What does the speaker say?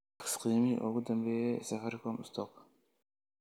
tax qiimihii ugu dambeeyay ee Safaricom stock